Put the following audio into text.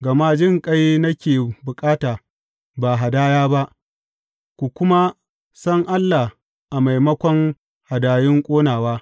Gama jinƙai nake bukata, ba hadaya ba, ku kuma san Allah a maimakon hadayun ƙonawa.